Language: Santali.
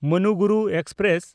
ᱢᱟᱱᱩᱜᱩᱨᱩ ᱮᱠᱥᱯᱨᱮᱥ